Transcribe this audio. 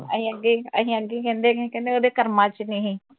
ਅਹੀ ਅਁਗੇ ਅਹੀ ਅਁਗੇ ਹੀ ਕਹਿੰਦੇ ਕਹਿੰਦੇ ਉਹਦੇ ਕਰਮਾ ਵਿਚ ਨਹੀ ਹੀ